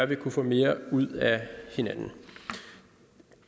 vi kunne få mere ud af hinanden